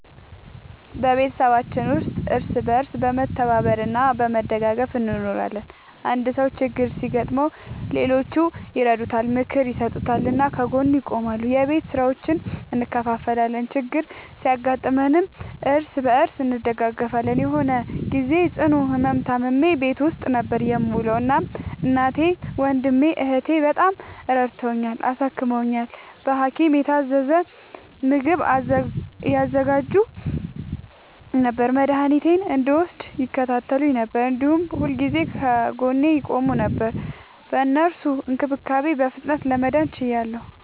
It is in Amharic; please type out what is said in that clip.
በቤተሰባችን ውስጥ እርስ በርስ በመተባበር እና በመደጋገፍ እንኖራለን። አንድ ሰው ችግር ሲያጋጥመው ሌሎቹ ይረዱታል፣ ምክር ይሰጡታል እና ከጎኑ ይቆማሉ። የቤት ስራዎችን እንከፋፈላለን፣ ችግር ሲያጋጥምም እርስ በርስ እንደጋገፋለን። የሆነ ግዜ ጽኑ ህመም ታምሜ ቤት ውስጥ ነበር የምዉለዉ። እናም እናቴ፣ ወንድሜ፣ እህቴ፣ በጣም ረድተዉኛል፣ አሳክመዉኛል። በሀኪም የታዘዘ ምግብ ያዘጋጁ ነበር፣ መድኃኒቴን እንድወስድ ይከታተሉኝ ነበር፣ እንዲሁም ሁልጊዜ ከጎኔ ይቆሙ ነበር። በእነሱ እንክብካቤ በፍጥነት ለመዳን ችያለሁ።